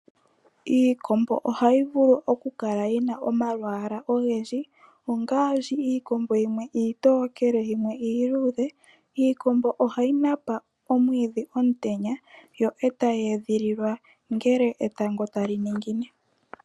Iikombo ohayi vulu okukala yina omalwaala ogendji, ngaashi iikombo yimwe iitokele niiluudhe. Iikombo ohayi napa omwiidhi omutenya, eta yi edhililwa ngele etango tali ningine.